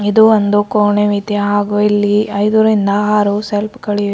ಇದು ಒಂದು ಕೋಣೆವಿದೆ ಹಾಗೂ ಇಲ್ಲಿ ಐದರಿಂದ ಆರು ಶೆಲ್ಫ್ ಗಳಿವೆ.